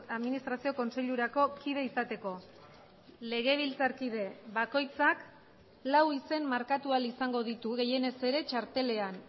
administrazio kontseilurako kide izateko legebiltzarkide bakoitzak lau izen markatu ahal izango ditu gehienez ere txartelean